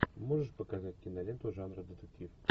можешь показать киноленту жанра детектив